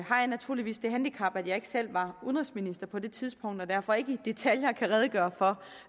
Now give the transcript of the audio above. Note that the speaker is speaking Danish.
har jeg naturligvis det handicap at jeg ikke selv var udenrigsminister på det tidspunkt og derfor ikke i detaljer kan redegøre for